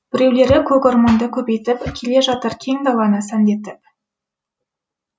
біреулері көк орманды көбейтіп келе жатыр кең даланы сәнді етіп